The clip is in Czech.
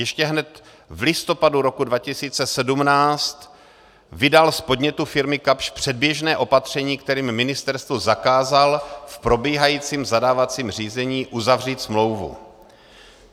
Ještě hned v listopadu roku 2017 vydal z podnětu firmy Kapsch předběžné opatření, kterým ministerstvu zakázal v probíhajícím zadávacím řízení uzavřít smlouvu.